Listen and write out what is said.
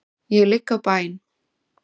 Ég ligg á bæn.